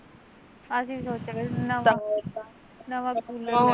ਅਸੀਂ ਵੀ ਸੋਚਿਆ ਕਰਦੇ ਨਵਾਂ ਕੂਲਰ ਲੈਨਾ